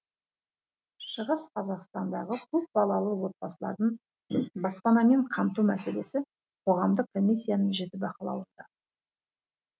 шығыс қазақстандағы көп балалы отбасылардың баспанамен қамту мәселесі қоғамдық комиссияның жіті бақылауында